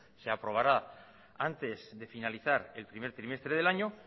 se aprobará antes de finalizar el primer trimestre del año